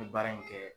N ye baara in kɛ